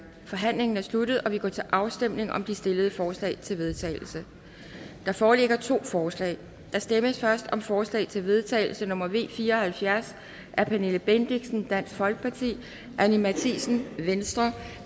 forhandlingen er sluttet og vi går til afstemning om de stillede forslag til vedtagelse der foreligger to forslag der stemmes først om forslag til vedtagelse nummer v fire og halvfjerds af pernille bendixen anni matthiesen